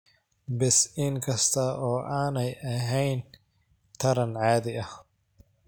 Bees Inkasta oo aanay ahayn taran caadi ah.